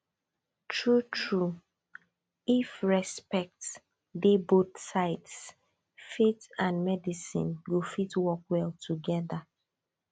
truetrue if respect dey both sides faith and medicine go fit work well together